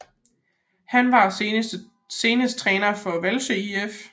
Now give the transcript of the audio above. Han var senest træner for Hvalsø IF